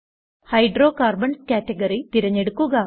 hydrocarbons category തിരഞ്ഞെടുക്കുക